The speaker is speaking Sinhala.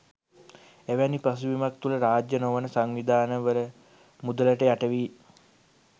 එවැනි පසුබිමක් තුල රාජ්‍ය නොවන සංවිධානවල මුදලට යටවී